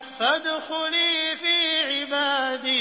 فَادْخُلِي فِي عِبَادِي